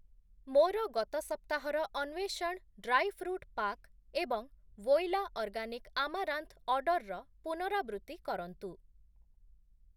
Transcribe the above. ମୋର ଗତ ସପ୍ତାହର ଅନ୍ଵେଷଣ୍ ଡ୍ରାଇ ଫ୍ରୁଟ୍ ପାକ୍‌ ଏବଂ ଭୋଇଲା ଅର୍ଗାନିକ୍‌ ଆମାରାନ୍ଥ୍‌ ଅର୍ଡ଼ର୍‌ର ପୁନରାବୃତ୍ତି କରନ୍ତୁ ।